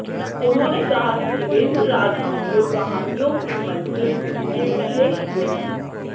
उन्होंने कहा कि देवेंद्र राज अंकुर कहानियों के मंचन के विशेषज्ञ हैं